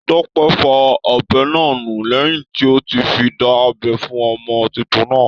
Tọ́pẹ́ fọ ọ̀bẹ náà nù lẹ́hìn tí ó ti fi dá abẹ́ fún ọmọ titun náà.